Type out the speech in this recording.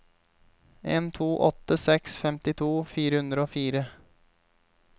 en to åtte seks femtito fire hundre og fire